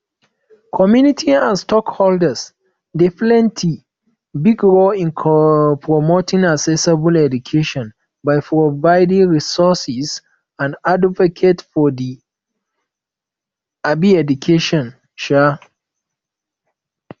community and stakeholders dey play big role in promoting accessible education by providing resources and advocate for di um education um